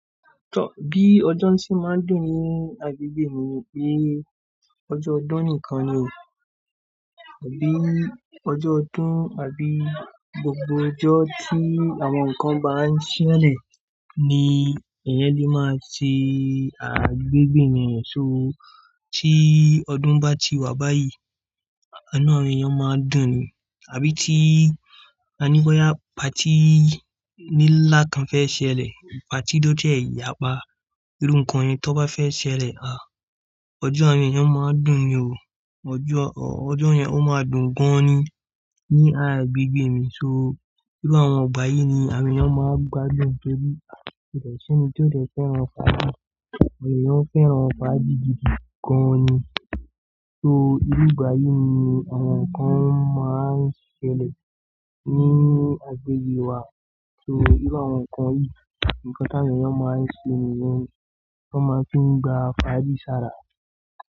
Tọ, bí ọjọ́ tí máa ń dùn ní agbègbè mi ni pé ọjọ́ ọdún nìkan ni, àbí ọjọ́ ọdún àbí gbogbo ọjọ́ tí àwọn nǹkan bá ń ṣẹlẹ̀ ni èèyàn lè máa ṣe agbègbè mi ṣó tí ọdún bá ti wá báyìí inú àwọn èèyàn máa dùn ni, àbí tí a ní boyá party nlà kan fẹ́ ṣẹlẹ̀, party tó jẹ́ yá pa, irú nǹkan yẹn tó bá fẹ́ ṣẹlẹ̀, ọjọ́ awọn èèyàn máa n dùn ni o. Ọjọ́, ọjọ́ yẹn ó máa dùn gan ni ní àgbègbè mi. So, irú àwọn ìgbà yìí ni àwọn èèyàn máa gbádùn torí ìtọ̀sọ́nì tí ó dẹ fẹ́ràn ọba, ọ̀pọ̀ èèyàn fẹ́ràn ọba jiju gan ni. So, irú ìgbà yìí ni àwọn nǹkan máa ń ṣẹlẹ̀ ní àgbègbè wa. So, irú àwọn nǹkan yìí, nǹkan tí àwọn èèyàn máa ń sé nìyẹn ni wọ́n máa fí ń gba fàájì bí sára.